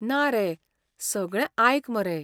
ना रे, सगळें आयक मरे.